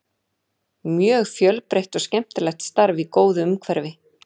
Mjög fjölbreytt og skemmtilegt starf í góðu umhverfi.